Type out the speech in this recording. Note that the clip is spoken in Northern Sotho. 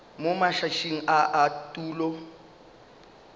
mo matšatšing a a tulo